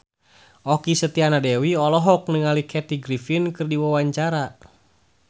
Okky Setiana Dewi olohok ningali Kathy Griffin keur diwawancara